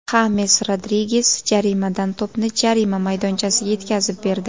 Xames Rodriges jarimadan to‘pni jarima maydonchasiga yetkazib berdi.